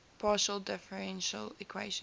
partial differential equations